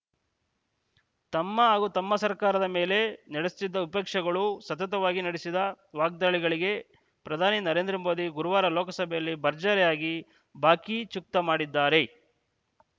ತಮ್ಮ ಹಾಗೂ ತಮ್ಮ ಸರ್ಕಾರದ ಮೇಲೆ ನಡೆಸ್ ತ್ತಿದ್ದ ವಿಪಕ್ಷಗಳು ಸತತವಾಗಿ ನಡೆಸಿದ ವಾಗ್ದಾಳಿಗಳಿಗೆ ಪ್ರಧಾನಿ ನರೇಂದ್ರ ಮೋದಿ ಗುರುವಾರ ಲೋಕಸಭೆಯಲ್ಲಿ ಭರ್ಜರಿಯಾಗಿ ಬಾಕಿ ಚುಕ್ತಾ ಮಾಡಿದ್ದಾರೆ